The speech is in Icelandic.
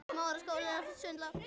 Blóðrás heftir strax í stað.